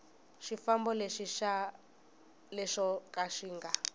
xifambo lexo ka xi nga